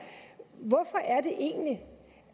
hvorfor er det egentlig